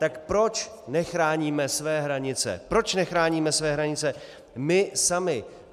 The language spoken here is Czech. Tak proč nechráníme své hranice, proč nechráníme své hranice my sami?